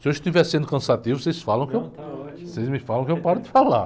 Se eu estiver sendo cansativo, vocês falam que eu...ão está ótimo.ocês me falam que eu paro de falar.